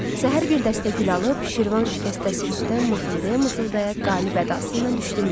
Səhər bir dəstə gül alıb, Şirvan şikəstəsi üstdən mızıldaya-mızıldaya qalib ədası ilə düşdüm yola.